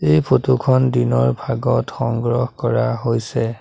এই ফটো খন দিনৰ ভাগত সংগ্ৰহ কৰা হৈছে।